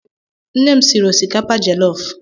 Nne m siri osikapa jellof